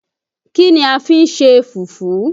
Kí ni a fi n ṣe fùfú?